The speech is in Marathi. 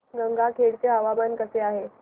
गंगाखेड चे हवामान कसे आहे